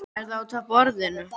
Er það útaf borðinu?